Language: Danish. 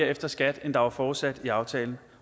efter skat end der var forudsat i aftalen